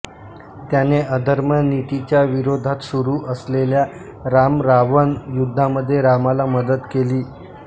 त्याने अधर्म नीतीच्या विरोधात सुरू असलेल्या रामरावण युद्धामध्ये रामाला मदत केली